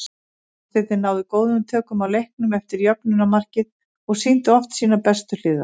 Gestirnir náðu góðum tökum á leiknum eftir jöfnunarmarkið og sýndu oft sínar bestu hliðar.